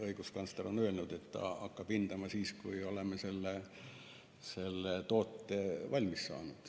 Õiguskantsler on öelnud, et ta hakkab seda hindama siis, kui me oleme selle toote valmis saanud.